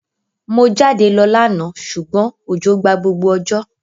Mo jáde lo lánà sùgbón òjò gba gbogbo òjò